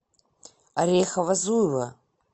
орехово зуево